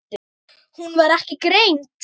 Hún var ekkert greind.